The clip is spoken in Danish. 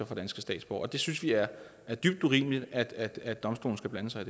fra danske statsborgere det synes vi er er dybt urimeligt at domstolen skal blande sig